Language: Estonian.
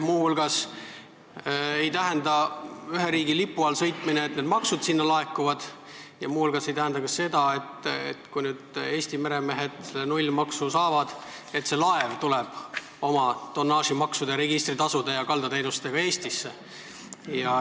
Muu hulgas ei tähenda mingi riigi lipu all sõitmine, et maksud sinna laekuvad, ja eelnõu ei tähenda ka seda, et kui nüüd Eesti meremehed nullmaksu võimaluse saavad, siis laev tuleb oma tonnaaži- ja registri- ja kaldateenuste tasudega Eestisse.